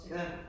Ja